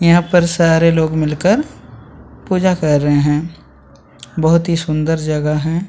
यहाँ पर सारे लोग मिलकर पूजा कर रहे हैं बहुत ही सुंदर जगह है।